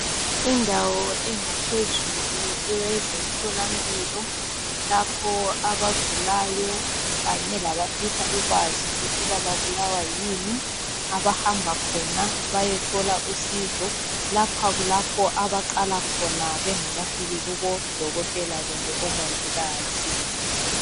Indawo engaphezulu eyezemtholampilo, lapho abagulayo kanye labafisa ukwazi ukuthi babulawa yini. Abahamba khona bayethola usizo. Lapha kulapho abaqala khona bengakafiki kubodokotela kumbe omongikazi.